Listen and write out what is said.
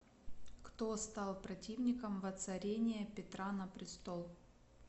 кто стал противником воцарения петра на престол